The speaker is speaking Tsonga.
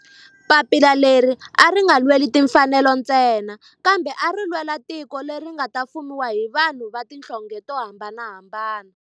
Papila leri a ri nga lweli timfanelo ntsena kambe ari lwela tiko leri nga ta fumiwa hi vanhu va tihlonge to hambanahambana.